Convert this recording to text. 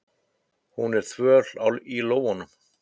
Hún er þvöl í lófunum.